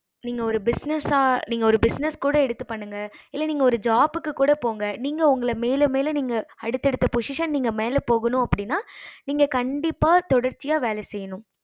நீங்க ஒரு business நீங்க ஒரு business கூட எடுத்து பண்ணுங்க இல்ல நீங்க ஒரு job க்கு கூட போங்க நீங்க உங்கள மேலும் மேலும் நீங்க அடுத்த அடுத்த position நீங்க போகணும் அப்படின்னா நீங்க கண்டிப்பா தொடர்ச்சியா வேல செய்யணும்